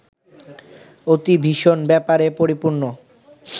অতি ভীষণ ব্যাপারে পরিপূর্ণ